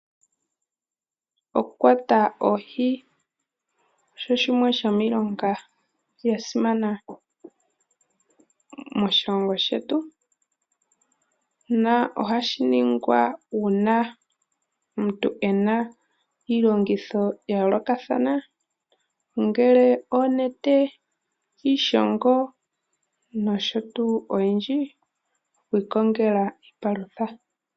Okukwata oohi osho shimwe shomiilonga yasimana moshilongo shetu . Ohashingwa uuna omuntu ena iilongitho yayoolokathana ongele onete, iishongo nosho tuu oyindji, iikongela iipalutha.